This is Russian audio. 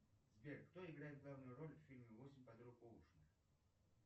сбер кто играет главную роль в фильме восемь подруг оушена